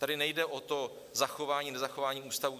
Tady nejde o to zachování nezachování ústavů.